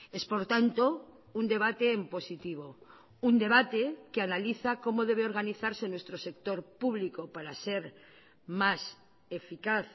es por tanto un debate en positivo un debate que analiza cómo debe organizarse nuestro sector público para ser más eficaz